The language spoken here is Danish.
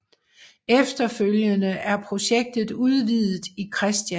Efterfølgende er projektet udvidet i Chr